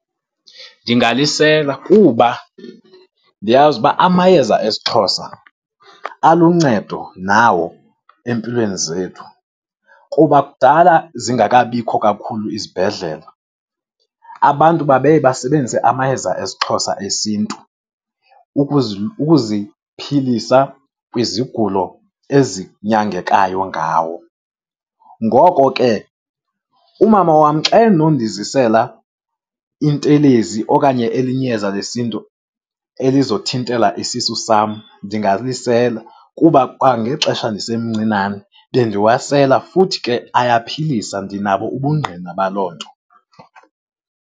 Ndingalisela kuba ndiyazi uba amayeza esiXhosa aluncedo nawo empilweni zethu. Kuba kudala zingakabikho kakhulu izibhedlela, abantu babeye basebenzise amayeza esiXhosa esiNtu ukuziphilisa kwizigulo ezinyangekayo ngawo. Ngoko ke umama wam xa enondizisela intelezi okanye elinye iyeza lesiNtu elizothintela isisu sam ndingalisela, kuba kwangexesha ndisemncinane bendiwasela futhi ke ayaphilisa, ndinabo ubungqina baloo nto.